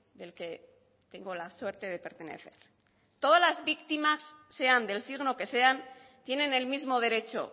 del que tengo la suerte de pertenecer todas las víctimas sean del signo que sean tienen el mismo derecho